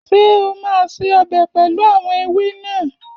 Ṣé o máa se ọbẹ̀ pẹlu àwọn ewé náà?